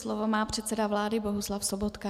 Slovo má předseda vlády Bohuslav Sobotka.